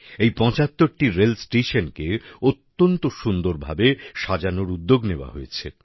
এই ৭৫টি রেল স্টেশনকে অত্যন্ত সুন্দরভাবে সাজানোর উদ্যোগ নেওয়া হচ্ছে